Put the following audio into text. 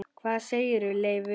Hvað segir Leifur?